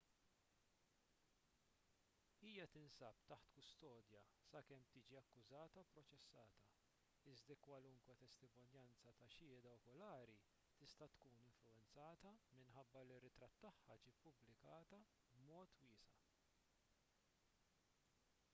hija tinsab taħt kustodja sakemm tiġi akkużata u pproċessata iżda kwalunkwe testimonjanza ta' xhieda okulari tista' tkun influwenzata minħabba li ritratt tagħha ġie ppubblikata b'mod wiesa''